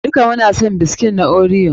Duka muna son biskit na Oreo.